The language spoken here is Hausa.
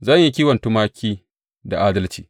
Zan yi kiwo tumaki da adalci.